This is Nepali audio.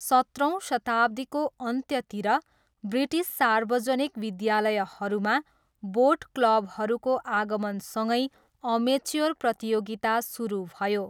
सत्रौँ शताब्दीको अन्त्यतिर ब्रिटिस सार्वजनिक विद्यालयहरूमा 'बोट क्लबहरू'को आगमनसँगै अमेच्योर प्रतियोगिता सुरु भयो।